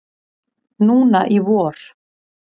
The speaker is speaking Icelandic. Núna í vor.